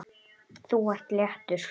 Þú ert léttur.